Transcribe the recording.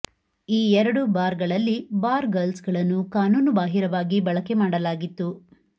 ಈ ಎರಡು ಬಾರ್ ಗಳಲ್ಲಿ ಬಾರ್ ಗರ್ಲ್ಸ್ ಗಳನ್ನು ಕಾನೂನು ಬಾಹಿರವಾಗಿ ಬಳಕೆ ಮಾಡಲಾಗಿತ್ತು